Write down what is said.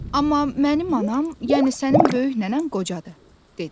Amma mənim anam, yəni sənin böyük nənən qocadır" dedi.